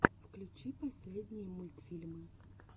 включи последние мультфильмы